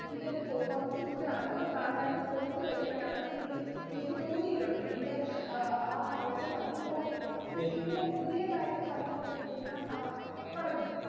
ഇപ്പൊ കുറച്ചു കൂടെയധികം പ്രാധാന്യം കൊടുത്തുവരികയാണെന്ന് എനിക്ക് എനിക്ക് തോന്നിയിട്ടുണ്ട്. എന്റെ ആ കാഴ്ചപ്പാടിൽ തോന്നിയിട്ടുണ്ട്. പിന്നെ പുതിയതായിട്ട് വന്നുകൊണ്ടിരിക്കുന്ന ആഹ് പറഞ്ഞോളൂ